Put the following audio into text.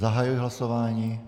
Zahajuji hlasování.